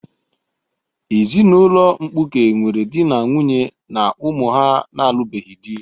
Ezinụlọ mkpuke nwere di na nwunye na ụmụ ha na-alụbeghị di.